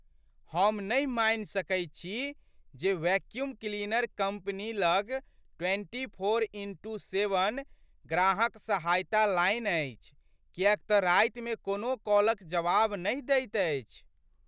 हम नहि मानि सकैत छी जे वैक्यूम क्लीनर कम्पनी लग ट्वेंटी फोर इंटू सेवन ग्राहक सहायता लाइन अछि किएक तँ रातिमे कोनो कॉलक जवाब नहि दैत अछि।